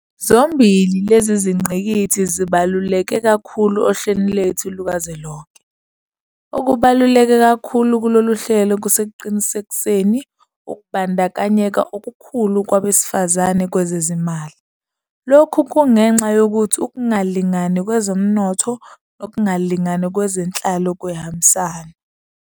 Zombili lezi zingqikithi zibaluleke kakhulu ohlelweni lwethu lukazwelonke. Okubaluleke kakhulu kulolu hlelo kusekuqinisekiseni ukubandakanyeka okukhulu kwabe sifazane kwezezimali. Lokhu kungenxa yokuthi ukungalingani kwezomnotho nokungalingani kwezenhlalo kuyahambisana.